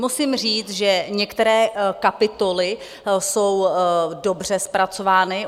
Musím říct, že některé kapitoly jsou dobře zpracovány.